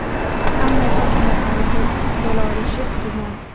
ammo Fotimaxonim bo‘la olishi gumon.